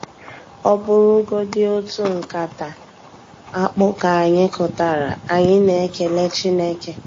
Ọ bụrụgodi otu nkata akpụ ka anyị kụtara, anyị na-ekele Chineke.